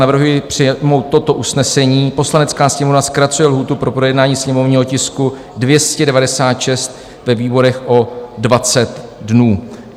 Navrhuji přijmout toto usnesení: "Poslanecká sněmovna zkracuje lhůtu pro projednání sněmovního tisku 296 ve výborech o 20 dnů.